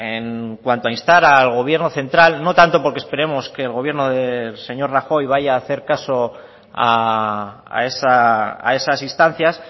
en cuanto a instar al gobierno central no tanto por que esperemos que el gobierno del señor rajoy vaya a hacer caso a esas instancias